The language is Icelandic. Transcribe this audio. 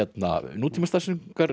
nútíma